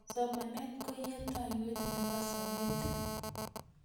Somanet ko yateiywot nebo sopet